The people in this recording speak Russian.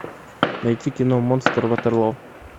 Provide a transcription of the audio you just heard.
найти кино монстр ватерлоо